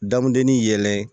Damudenin yelɛn